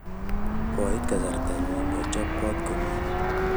koit kasarta nyu achob kot komiet